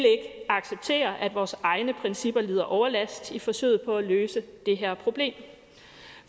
acceptere at vores egne principper lider overlast i forsøget på at løse det her problem